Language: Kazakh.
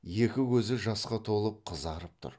екі көзі жасқа толып қызарып тұр